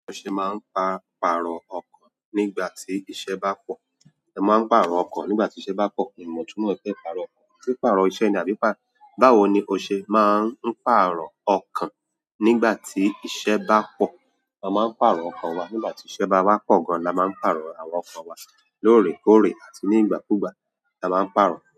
O ṣe máa ń pa pààrọ̀ ọkàn nígbà tí iṣẹ́ bá pọ̀. Ẹ̀ máa ń pààrọ̀ ọkọ̀ nígbà tí iṣẹ́ bá pọ̀. Miì mọ̀ 'túmọ̀ pípààrọ̀ ọkàn. Tí pàrọ̀ ọṣẹ ni àbí pà-- báwo ni o ṣe máa ń pàrọ̀ ọkàn nígbà tí iṣẹ́ bá pọ̀? A máa ń pàrọ̀ ọkàn wa nígbà tí iṣẹ́ bá wá pọ̀ gan. La máa ń pààrọ̀ àwọn ọkàn wa lóòrèkóòrè, àti nígbà kúùgbà la máa ń pàrọ̀